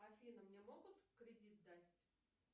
афина мне могут кредит дать